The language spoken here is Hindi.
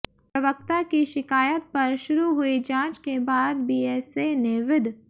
प्रवक्ता की शिकायत पर शुरू हुई जांच के बाद बीएसए ने विद